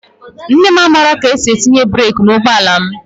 Nne m amaghị ka esi etinye breek n'ụgbọ ala m.